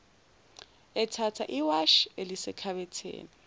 ethatha iwashi elisekhabetheni